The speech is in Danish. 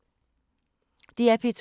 DR P2